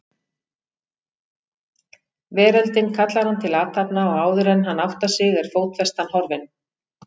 Veröldin kallar hann til athafna og áðuren hann áttar sig er fótfestan horfin.